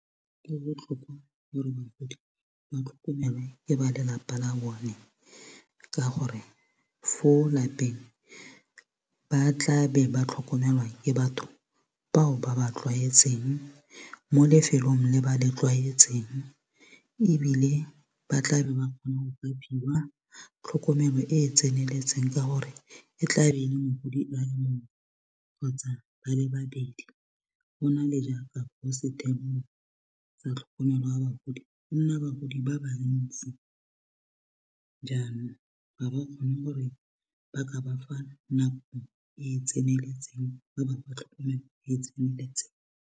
E botlhokwa gore bagodi ba tlhokomelwe ke ba lelapa la bone ka gore fo lapeng ba tla be ba tlhokomelwa ke batho bao ba ba tlwaetseng mo lefelong le ba le tlwaetseng ebile ba tlabe ba kgona go ka fiwa tlhokomelo e tseneletseng ka gore e kgotsa ba le babedi go nale jaaka sa tlhokomelo ya bagodi go nna bagodi ba ba ntsi jaanong ga ba kgone gore ba ka bafa nako e e tseneletseng ba bafa tlhokomelo e e tseneletseng.